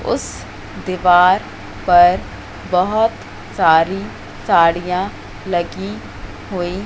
उस दीवार पर बहोत सारी साड़ियां लगी हुई--